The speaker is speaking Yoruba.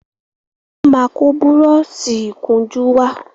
wón má kó Búrọ́ọ̀ṣì ìkunjú wá.